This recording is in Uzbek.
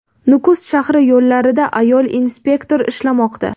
Nukus shahri yo‘llarida ayol inspektor ishlamoqda.